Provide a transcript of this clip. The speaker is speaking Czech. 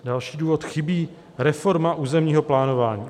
Další důvod: "Chybí reforma územního plánování.